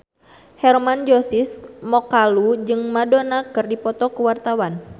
Hermann Josis Mokalu jeung Madonna keur dipoto ku wartawan